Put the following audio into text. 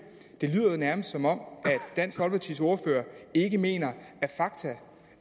det lyder nærmest som om dansk folkepartis ordfører ikke mener